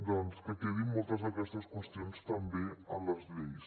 doncs que quedin moltes d’aquestes qüestions també en les lleis